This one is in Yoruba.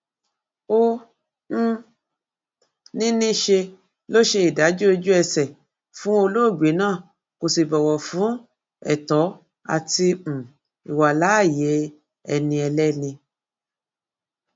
ó um ní níṣe ló ṣe ìdájọ ojúẹsẹ fún olóògbé náà kó sì bọwọ fún ètò àti um ìwàláàyè ẹni ẹlẹni